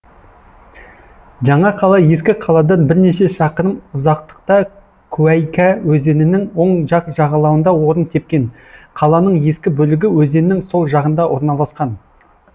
жаңа қала ескі қаладан бірнеше шақырым ұзақтықта куәйкә өзенінің оң жақ жағалауында орын тепкен қаланың ескі бөлігі өзеннің сол жағында орналасқан